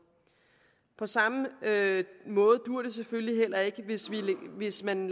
på samme måde duer det selvfølgelig heller ikke hvis man